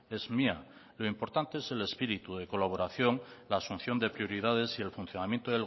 es mía lo importante es el espíritu de colaboración la asunción de prioridades y el funcionamiento